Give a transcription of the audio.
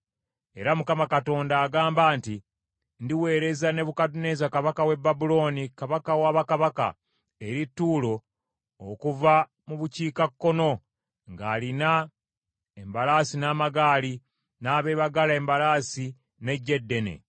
“Era Mukama Katonda agamba nti, ‘Ndiweereza Nebukadduneeza kabaka w’e Babulooni kabaka wa bakabaka, eri Ttuulo okuva mu bukiikakkono, ng’alina embalaasi n’amagaali, n’abeebagala embalaasi n’eggye eddene.